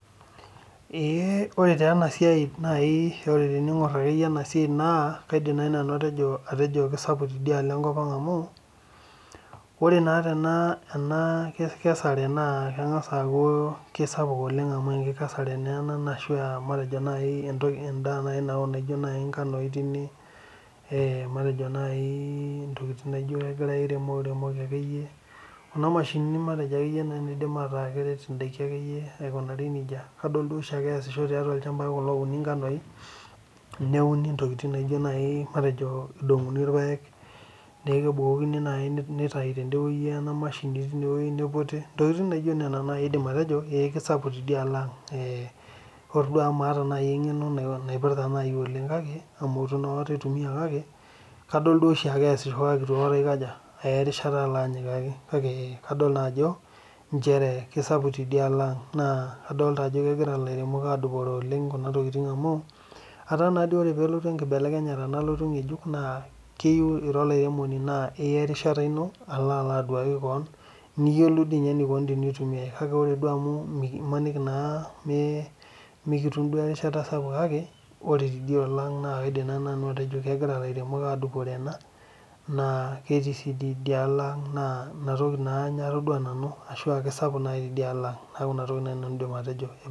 Ee ore taa enasia teningor akeyie emasia kaidim ateji kesapuk tenkop aang oleng amu ore enkesare enabna ijo nai ngano tine, matejo ntokitin nagira lairemok akeyie adol duo oshiake easisho tolchambai kulo ouni ngano neaku kebukokini nai nitau tidieiewueji niputi ntokitin nijo kuna nai aidim atejo kesapuk tenkop aang amaata nai engeno naipirta enabae kake kadol oshiake easisho kake itu akata alo anyikaki kake adolta ajo esapuk tidia kopaang na kadolta ajo egira lairemok adupore kuna tokitin amu ataa naa ore pelotu enkibelekenyata ngejuk keyieu ira olairemoni niya erishata ino ali aduaki keon niyoolou enikunu tenitumia keya duo nemetum erishata sapuk kake kaidim atejo egira lairemok adupore ena naa ketii si idialo aang na inatoki ataduo ajo kesapuk tidialo aang.